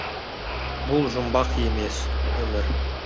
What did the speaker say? бұл жұмбақ емес өмір